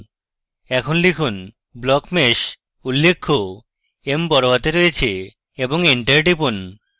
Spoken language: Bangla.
এখন লিখুন blockmesh উল্লেখ্য m বড়হাতে রয়েছে এবং এন্টার টিপুন